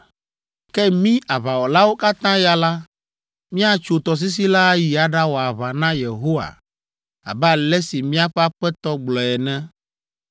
Ke mí aʋawɔlawo katã ya la, míatso tɔsisi la ayi aɖawɔ aʋa na Yehowa abe ale si míaƒe aƒetɔ gblɔ ene.”